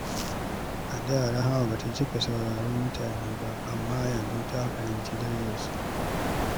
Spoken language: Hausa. A da, Rahama ba ta cika saurarar mutane ba, amma yanzu ta fahimci darajarsu.